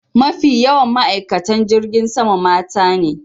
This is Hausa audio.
Mafi yawan ma'aikatan jirgin sama mata ne.